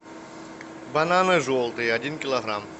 бананы желтые один килограмм